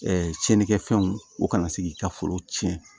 cɛnikɛfɛnw o kana se k'i ka foro tiɲɛ